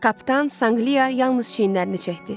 Kapitan Sanqliya yalnız çiynlərini çəkdi.